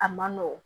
A man nɔgɔn